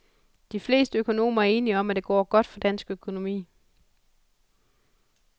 De fleste økonomer er enige om, at det går godt for dansk økonomi.